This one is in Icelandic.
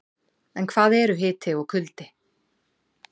En hvað eru hiti og kuldi?